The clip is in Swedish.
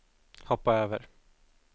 hoppa över